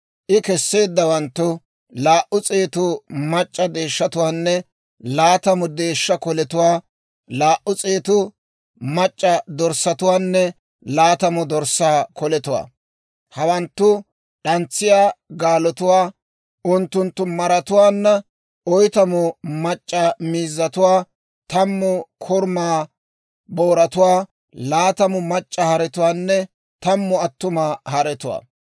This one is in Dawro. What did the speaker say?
I kesseeddawanttu laa"u s'eetu mac'c'a deeshshatuwaanne laatamu deeshsha koletuwaa, laa"u s'eetu mac'c'a dorssatuwaanne laatamu dorssaa koletuwaa, hattamu d'antsiyaa gaalotuwaa unttunttu maratuwaanna, oytamu mac'c'a miizzatuwaa, tammu korumaa booratuwaa, laatamu mac'c'a haretuwaanne tammu attuma haretuwaa.